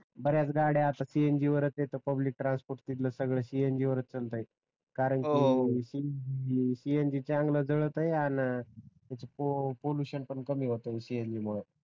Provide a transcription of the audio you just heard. बऱ्याच गाड्या आता cng वरच आहेत त पब्लिक ट्रान्सफोर्ट तिथल cng वरच चालते करणकी cng चांगल जळताय आन त्याच पॉल्युशन पण कमी होत cng मुळ